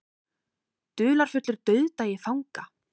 Dularfullur dauðdagi fanga